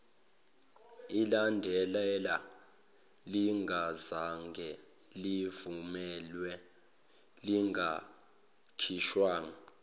ilandelana lingazangelivunyelwe lingakhishwa